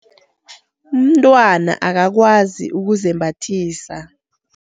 Untwana angakwazi ukuzembathisa?